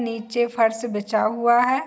नीचे फर्श बीछा हुआ है |